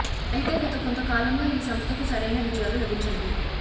అయితే గత కొంత కాలంగా ఈ సంస్థకు సరైన విజయాలు లభించలేదు